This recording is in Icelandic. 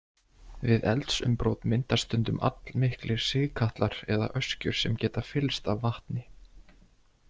Við eldsumbrot myndast stundum allmiklir sigkatlar eða öskjur sem geta fyllst af vatni.